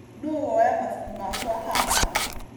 Nũũ woya mabuku makwa haha?